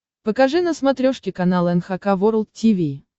покажи на смотрешке канал эн эйч кей волд ти ви